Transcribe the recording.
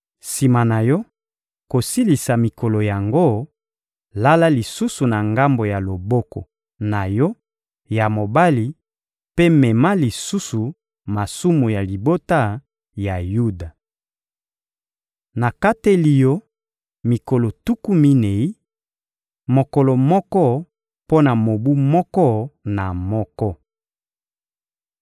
Sima na yo kosilisa mikolo yango, lala lisusu na ngambo ya loboko na yo ya mobali mpe mema lisusu masumu ya libota ya Yuda. Nakateli yo mikolo tuku minei: mokolo moko mpo na mobu moko na moko.